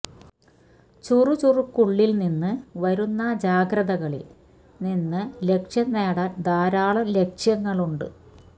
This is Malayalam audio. ചുറുചുറുക്കുള്ളിൽ നിന്ന് വരുന്ന ജാഗ്രതകളിൽ നിന്ന് ലക്ഷ്യം നേടാൻ ധാരാളം ലക്ഷ്യങ്ങളുണ്ട്